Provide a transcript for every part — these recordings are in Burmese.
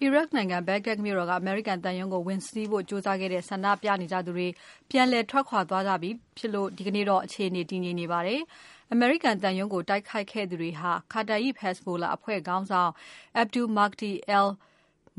အီရတ်နိုင်ငံ Baghdad မြို့တော်မှာရှိတဲ့ အမေရိကန်သံရုံးအပေါ် ဆန္ဒပြနေကြသူတွေ ပြန်လည်ထွက်ခွာသွားခဲ့ကြတဲ့အတွက် ဒီကနေ့တော့ အခြေအနေ တည်ငြိမ်နေပါတယ်။ အမေရိကန်သံရုံးကို တိုက်ခိုက်ခဲ့သူတွေဟာ Kataeb Hezbollah အဖွဲ့ခေါင်းဆောင် Abu Mahdi al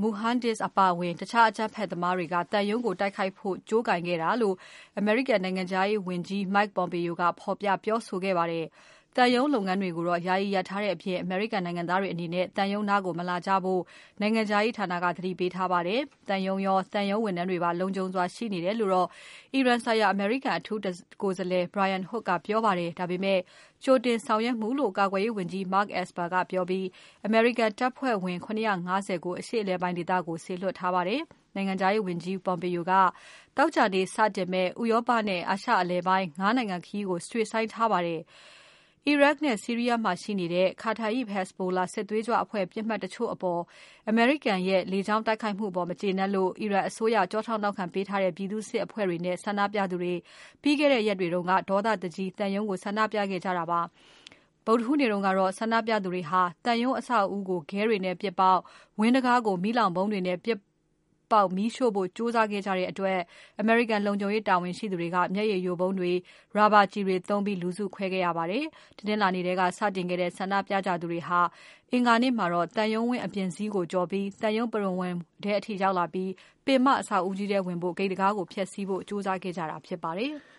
Muhandis အပါအဝင် တခြားအကြမ်းဖက်သမားတွေက သံရုံးကို တိုက်ခိုက်ခဲ့တာလို့ အမေရိကန်နိုင်ငံခြားရေးဝန်ကြီး Mike Pompeo က ဖော်ပြပြောဆိုခဲ့ပါတယ်။ သံရုံးလုပ်ငန်းတွေကိုတော့ ယာယီရပ်ထားတဲ့အပြင် အမေရိကန်နိုင်ငံသားတွေအနေနဲ့ သံရုံးနားကို မလာကြဖို့ နိုင်ငံခြားရေးဌာနက သတိပေးထားပါတယ်။ သံရုံးရော သံရုံးဝန်ထမ်းတွေပါ လုံခြုံစွာ ရှိနေတယ်လို့တော့ အီရန်ဆိုင်ရာ အမေရိကန်အထူးကိုယ် Brian Hook က ပြောပါတယ်။ ဒါပေမဲ့ ကြိုတင်ဆောင်ရွက်မှုလို့ ကာကွယ်ရေးဝန်ကြီး Mark Esper ကပြောပြီး အမေရိကန်တပ်ဖွဲ့ဝင် ၇၅၀ ကို အရှေ့အလယ်ပိုင်းဒေသကို စေလွှတ်ထားပါတယ်။ နိုင်ငံခြားရေးဝန်ကြီး Pompeo က သောကြာနေ့ စတင်မယ့် ဥရောပနဲ့ အာရှအလယ်ပိုင်း ၅ နိုင်ငံ ခရီးကို ရွှေ့ဆိုင်းခဲ့ပါတယ်။ အီရတ်နဲ့ဆီးရီးယားမှာရှိနေတဲ့ Kataeb Hezbollah စစ်သွေးကြွအဖွဲ့ ပစ်မှတ်တချို့အပေါ် အမေရိကန်ရဲ့ လေကြောင်းတိုက်ခိုက်မှုအပေါ် မကျေနပ်လို့ အီရန်အစိုးရ ကျောထောက်နောက်ခံ ပေးထားတဲ့ ပြည်သူစစ်အဖွဲ့တွေနဲ့ ဆန္ဒပြသူတွေ ပြီးခဲ့တဲ့ရက်တွေက သံရုံးကို ဝင်စီးဖို့ ကြိုးစားခဲ့ကြတာပါ။ ဗုဒ္ဓဟူးနေ့တုန်းကတော့ ဆန္ဒပြသူတွေဟာ သံရုံးအဆောက်အဦးကို ခဲတွေနဲ့ ပစ်ပေါက် ဝန်းတံခါးကို မီးလောင်ဗုံးတွေနဲ့ ပစ်ပေါက်မီးရှို့ဖို့ကြိုးစားခဲ့ကြတဲ့အတွက် အမေရိကန်လုံခြုံရေး တာဝန်ရှိသူတွေက မျက်ရည်ယိုဗုံးတွေ၊ ရာဘာကျည်တွေသုံး လူစုခွဲခဲ့ရပါတယ်။ တနင်္လာနေ့ထဲက စတင် ဆန္ဒပြနေကြသူတွေဟာ အင်္ဂါနေ့မှာ သံရုံးဝန်း အပြင်စည်းကို ကျော်ပြီး သံရုံးပရဝဏ်ထဲအထိ ရောက်လာပြီး ပင်မ အဆောက်အဦးကြီးထဲဝင်တဲ့ ဂိတ်တံခါးကို ဖျက်စီးဖို့ ကြိုးစားခဲ့ကြတာ ဖြစ်ပါတယ်။